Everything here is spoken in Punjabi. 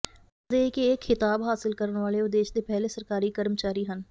ਦੱਸ ਦਈਏ ਕਿ ਇਹ ਖਿਤਾਬ ਹਾਸਲ ਕਰਨ ਵਾਲੇ ਉਹ ਦੇਸ਼ ਦੇ ਪਹਿਲੇ ਸਰਕਾਰੀ ਕਰਮਚਾਰੀ ਹਨ